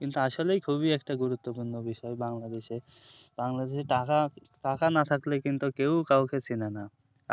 কিন্তু আসলেই একটা খুবই গুরুত্বপূর্ণ বিষয় bangladesh এ bangladesh এ টাকা টাকা না থাকলে কিন্তু কেউ কাউকে চিনে না